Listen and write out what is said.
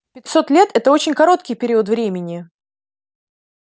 пятьсот лет это очень короткий период времени